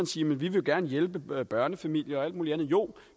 sige vi vil gerne hjælpe børnefamilier og alt muligt andet jo